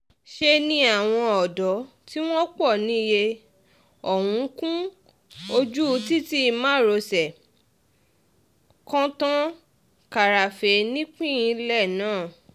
ṣe ni àwọn ọ̀dọ́ tí wọ́n pọ̀ níye ọ̀hún kún ojú títí márosẹ̀ kọ́tòń-kàràfẹ̀ nípìnlẹ̀ náà